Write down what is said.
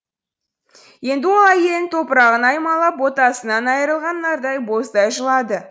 енді ол әйелінің топырағын аймалап ботасынан айырылған нардай боздай жылады